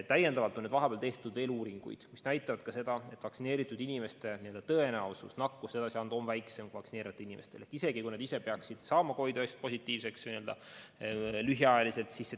Täiendavalt on vahepeal tehtud veel uuringuid, mis näitavad ka seda, et vaktsineeritud inimeste tõenäosus nakkust edasi anda on väiksem, isegi kui nad ise peaksid saama lühikeseks ajaks COVID‑19 positiivseks.